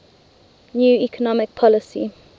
new economic policy